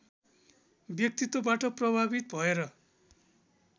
व्यक्तित्वबाट प्रभावित भएर